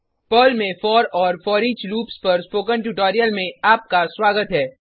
Perl में for और foreach loops पर स्पोकन ट्यूटोरियल में आपका स्वागत है